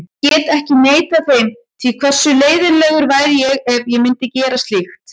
Ég get ekki neitað þeim því, hversu leiðinlegur væri ég ef ég myndi gera slíkt?